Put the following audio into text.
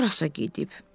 Harasa gedib.